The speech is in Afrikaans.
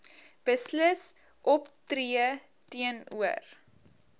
beslis optree teenoor